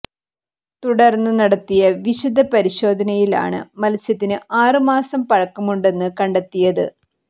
തുടര്ന്ന് നടത്തിയ വിശദ പരിശോധനയിലാണ് മത്സ്യത്തിന് ആറ് മാസം പഴക്കമുണ്ടെന്ന് കണ്ടെത്തിയത്